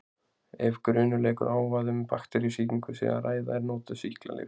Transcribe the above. Ef grunur leikur á að um bakteríusýkingu sé að ræða eru notuð sýklalyf.